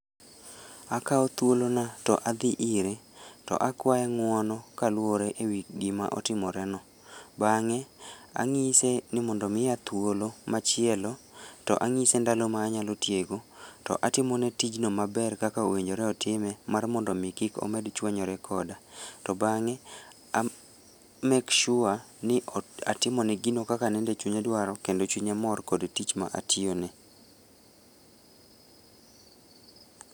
Akao thuolo na to adhii ire to akwaye ng'uono kaluore ewii gima otimoreno ban'ge anyise ni mondo omiya thuolo machielo to anyise ndalo ma anyalo tiyo go to atimone tijno maber kaka owinjore otime mar mondo omi kik omed chwanyore koda to bang'e a make sure ni atimone gino kaka nende chunye dwaro kendo chunye mor kod tichma atiyo ne